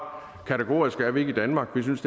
kategoriske er vi ikke i danmark vi synes